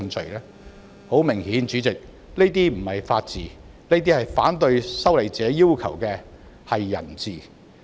主席，很明顯這不是法治，而是反對修例者要求的"人治"。